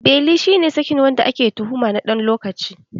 Beli shi ne sakin wanda ake tuhuma na ɗan lokaci